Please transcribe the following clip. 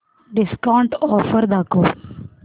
discount offer दाखव